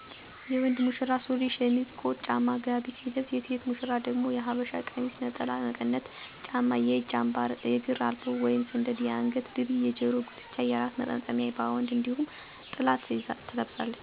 የወንድ ሙሽራ ሱሪ፣ ሸሚዝ፣ ኮት፣ ጫማ፣ ጋቢ ሲለብስ የሴት ሙሸራ ደግሞ የሐበሻ ቀሚስ፣ ነጠላ፣ መቀነት፣ ጫማ፣ የእጅ አምባር፣ የእግር አልቦ/ሰደድ፣ የአንገት ድሪ፣ የጀሮ ጉትቻ፣ የራስ መጠምጠሚያ ባወንድ እነዲሁም ጥላ ትለብሳለች።